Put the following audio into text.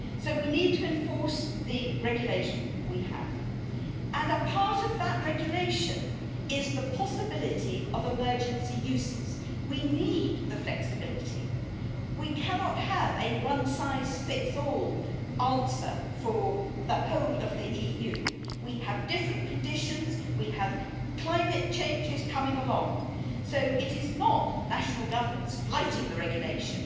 We need to enforce the regulation we have, and a part of that regulation is the possibility of emergency uses. We need the flexibility. We cannot have a one size fits all answer for the whole of the EU. We have different conditions, we have climate changes coming along, so it is not national governments flouting the regulation